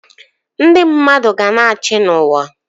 Ndị mmadụ ga-na achị n'uwa